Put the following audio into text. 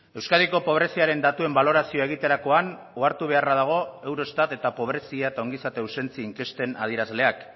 euskadiko pobreziaren datuen balorazioa egiterakoan ohartu beharra dago eurostat eta pobrezia eta ongizate ausentzia inkesten adierazleak